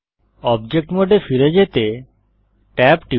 object মোডে ফিরে যেতে tab টিপুন